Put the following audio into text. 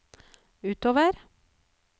utover